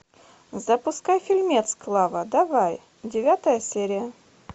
запускай фильмец клава давай девятая серия